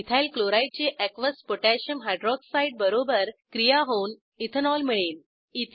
ethyl chloride ची aqueous potassium hydroxide बरोबर क्रिया होऊन इथेनॉल मिळेल